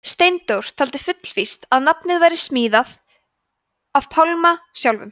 steindór taldi fullvíst að nafnið væri smíðað af pálma sjálfum